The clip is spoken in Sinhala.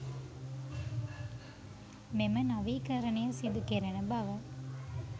මෙම නවීකරණය සිදුකෙරෙන බව